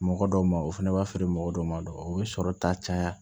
Mɔgɔ dɔw ma o fana b'a feere mɔgɔ dɔw ma dɔrɔn o bɛ sɔrɔ ta caya